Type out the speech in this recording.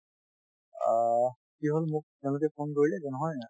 অ, কি হল মোক তেওঁলোকে phone কৰিলে যে নহয়